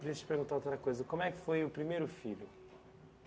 Deixa eu te perguntar outra coisa, como é que foi o primeiro filho?